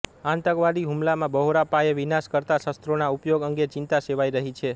આતંકવાદી હુમલામાં બહોળા પાયે વિનાશ કરતાં શસ્ત્રોના ઉપયોગ અંગે ચિંતા સેવાઈ રહી છે